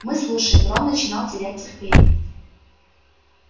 мы слушаем рон начинал терять терпение